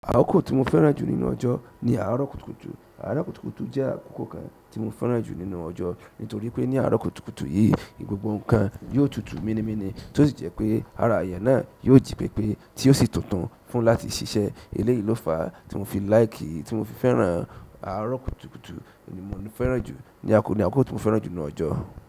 Àkókò tí mo fẹ́ràn jù nínú ọjọ́ ni àárọ̀ kùtùkùtù. Àárọ̀ kùtùkùtù jẹ́ àkókò kan tí mo fẹ́ràn jù nínú ọjọ́ nítorí pé ní àárọ̀ kùtùkùtù yìí, gbogbo nǹkan yóò tutù mini mini tó sì jẹ́ pé ara èèyàn náà yóò ji pé pé, tí ó sì tuntun fún láti ṣiṣẹ́. Eléyìí ló fa tí mo fi like, tí mo fi fẹ́ràn àárọ̀ kùtùkùtù ni mo ń fẹ́ràn jù, ní àkókò tí mo fẹ́ràn jù nínú ọjọ́.